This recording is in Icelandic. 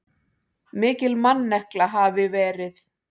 Mikil mannekla hafi verið.